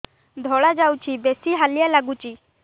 ଧଳା ଯାଉଛି ବେଶି ହାଲିଆ ଲାଗୁଚି